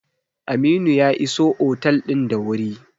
Aminu ya iso otel din da wuri.